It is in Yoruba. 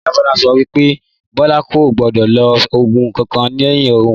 Ìyá Bólá so pé Bólá kò gbódò lo ògùn kankan léyìn òun